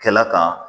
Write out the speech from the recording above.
Kɛla kan